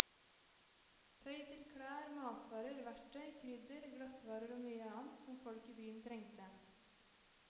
Tøy til klær, matvarer, verktøy, krydder, glassvarer og mye annet som folk i byen trengte.